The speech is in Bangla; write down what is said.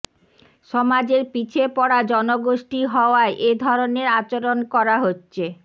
সমাজের পিছিয়ে পড়া জনগোষ্ঠী হওয়ায় এ ধরনের আচরণ করা হচ্ছে